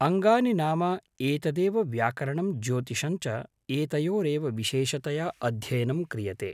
अङ्गानि नाम एतदेव व्याकरणं ज्योतिषञ्च एतयोरेव विशेषतया अध्ययनं क्रियते